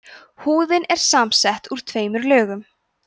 húðin er samsett úr tveimur lögum